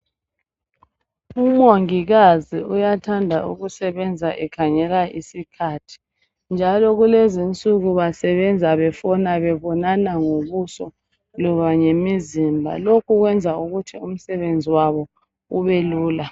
Umongikazi uyathanda ukusebenza ekhangela isikhathi njalo kulezinsuku basebenza befona bebonana ngobuso loba ngemizimba lokhu kwenza ukuthi umsebenzi wabo ubelula.